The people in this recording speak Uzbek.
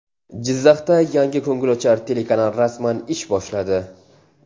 Jizzaxda yangi ko‘ngilochar telekanal rasman ish boshladi.